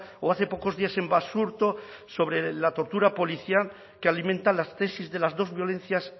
o hace pocos días en basurto sobre la tortura policial que alimentan las tesis de las dos violencias